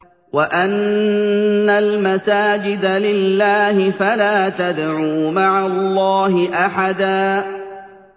وَأَنَّ الْمَسَاجِدَ لِلَّهِ فَلَا تَدْعُوا مَعَ اللَّهِ أَحَدًا